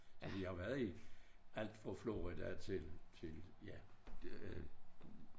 Vi har jo været i alt fra Florida til til ja det